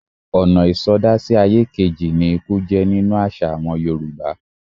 Ọ̀nà ìsọdá-sí-ayé-kejì ni ikú jẹ́ nínú àṣà àwọn Yorùbá.